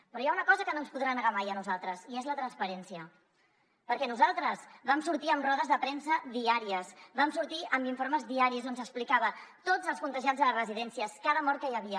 però hi ha una cosa que no ens podrà negar mai a nosaltres i és la transparència perquè nosaltres vam sortir en rodes de premsa diàries vam sortir amb informes diaris on s’explicava tots els contagiats a les residències cada mort que hi havia